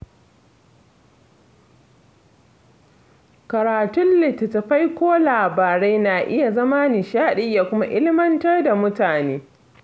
Karatun littattafai ko labarai na iya zama nishadi ya kuma ilmantar da mutane.